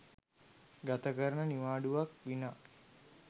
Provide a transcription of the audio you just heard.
ගතකරන නිවාඩුවක් විනා